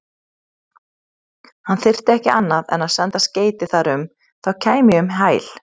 Hann þyrfti ekki annað en senda skeyti þar um, þá kæmi ég um hæl.